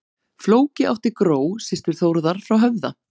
Flóki átti Gró, systur Þórðar frá Höfða.